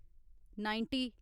ninety